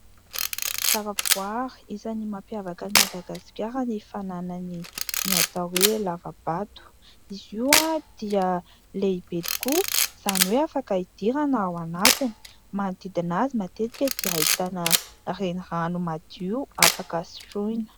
Zavaboary isan'ny mampiavaka an'i Madagasikara ny fananany ny atao hoe lavabato. Izy io dia lehibe tokoa, izany hoe afaka hidirana ao anatiny. Manodidina azy matetika dia ahitana renirano madio afaka sotroina.